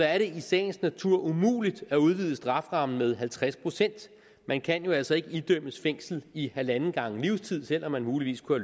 er det i sagens natur umuligt at udvide strafferammen med halvtreds procent man kan jo altså ikke idømme fængsel i halvanden gange livstid selv om man muligvis kunne